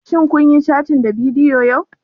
Shin kun yi cattin ta bidiyo yau?